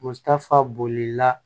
Mutafa bolila